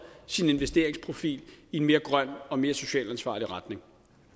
sin investeringsprofil i en mere grøn og mere socialt ansvarlig retning